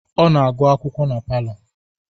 Ọ na-agụ akwụkwọ na palọ